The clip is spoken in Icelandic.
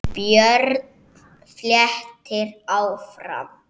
Björn flettir áfram.